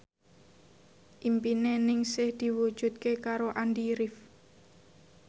impine Ningsih diwujudke karo Andy rif